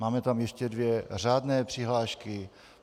Máme tam ještě dvě řádné přihlášky.